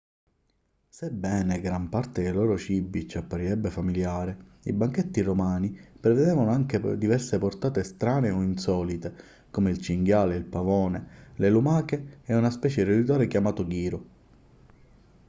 sebbene gran parte dei loro cibi ci apparirebbe familiare i banchetti romani prevedevano anche diverse portate strane o insolite come il cinghiale il pavone le lumache e una specie di roditore chiamato ghiro